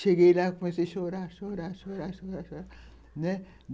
Cheguei lá e comecei a chorar, chorar, chorar, chorar, chorar, né.